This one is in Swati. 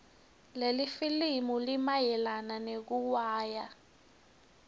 lelifilimu linayelana nekuiwaya